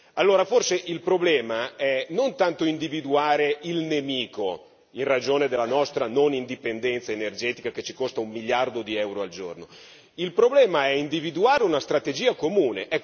Allora forse il problema è non tanto individuare il nemico in ragione della nostra non indipendenza energetica che ci costa un miliardo di euro al giorno il problema è individuare una strategia comune.